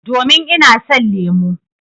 Domin ina son lemu.